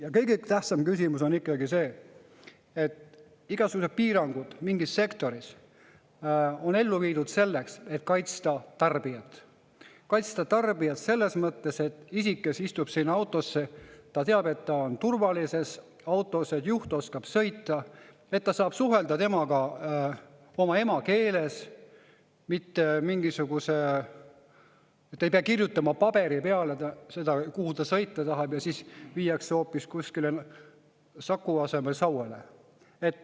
Ja kõige tähtsam on ikkagi see, et igasugused piirangud mingis sektoris on ellu viidud selleks, et kaitsta tarbijat – kaitsta tarbijat selles mõttes, et isik, kes istub autosse, teab, et ta on turvalises autos, et juht oskab sõita, et ta saab suhelda temaga oma emakeeles, mitte ei pea kirjutama paberi peale seda, kuhu ta sõita tahab, ja siis viiakse hoopis kuskile Saku asemel Sauele.